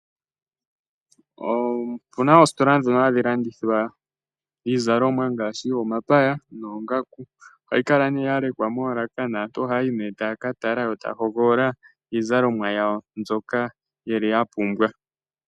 Opuna oositola ndhono hadhi landithwa iizalomwa ngaashi, omapaya noongaku. Ohayi kala ne yalekwa moolaka naantu ohaya yi ne taya ka tala yo taya hogolola iizalomwa yawo mbyoka ya pumbwa